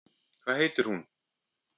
Hvað heitir hún?